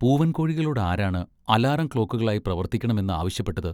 പൂവൻ കോഴികളോട് ആരാണ് അലാറം ക്ലോക്കുകളായി പ്രവർത്തിക്കണമെന്ന് ആവശ്യപ്പെട്ടത്?